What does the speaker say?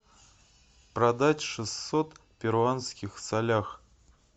продать шестьсот перуанских солях